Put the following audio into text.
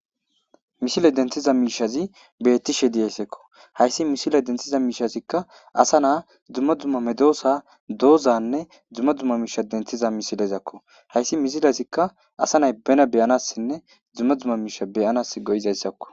misile denthiza miishazi bettishe diyaysseekko hayssi misile denthiza miishazikka asa naa dumma dumma medoosa doozanne dumma dumma miisha denthiza misilezakko hayssi misilazikka asa nay bena beyanassinne dzumma dzumma miisha beyanas go7izayssakko